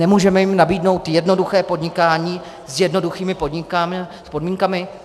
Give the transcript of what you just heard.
Nemůžeme jim nabídnout jednoduché podnikání s jednoduchými podmínkami?